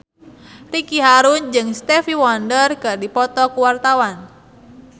Ricky Harun jeung Stevie Wonder keur dipoto ku wartawan